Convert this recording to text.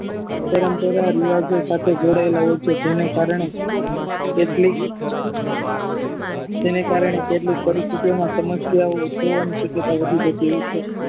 પરંપરા ઇરિવાજો સાથે જોડાયેલા હોય છે જેના કારણે કેટલીક તેના કારણે કેટલીક પરિસ્થિઓ ના સમસ્યાએ વધી જતી હોય છે